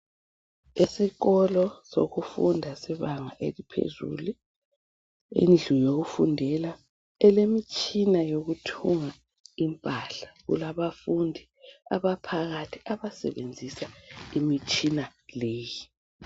Esikolo sokufunda sebanga eliphezulu, indlu yokufundela elemitshina yokuthunga impahla, kulabafundi abaphakathi abasebenzisa imitshina leyi.